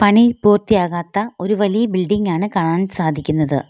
പണി പൂർത്തിയാകാത്ത ഒരു വലിയ ബിൽഡിങ്ങാണ് കാണാൻ സാധിക്കുന്നത്.